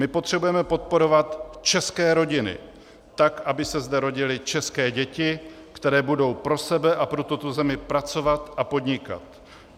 My potřebujeme podporovat české rodiny tak, aby se zde rodily české děti, které budou pro sebe a pro tuto zemi pracovat a podnikat.